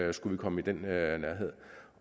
vi skulle komme i den nærhed